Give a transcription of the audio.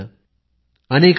प्रधानमंत्री नल वाड तुक्कल